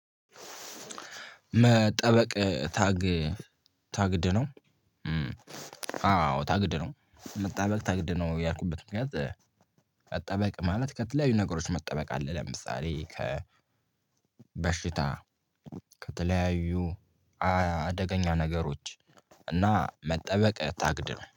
መጠበቅ ታግ ታግድ ነው። አዎ ታግድ ነው መጠበቅ ታግድ ነው ያልኩበት ምክንያት። መጠበቅ ማለት ከተለያዩ ነገሮች መጠበቅ አለ። ለምሳሌ ከ በሽታ ከተለያዩ አደገኛ ነገሮች እና መጠበቅ ታግድ ነው